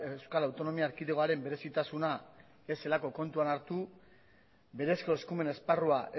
euskal autonomia erkidegoaren berezitasuna ez zelako kontuan hartu berezko eskumen esparrua